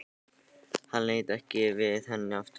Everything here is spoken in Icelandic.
Hann leit ekki við henni eftir það.